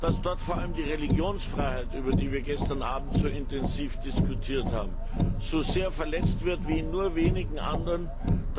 Dass dort vor allem die Religionsfreiheit, über die wir gestern Abend so intensiv diskutiert haben, so sehr verletzt wird wie in nur wenigen anderen Ländern.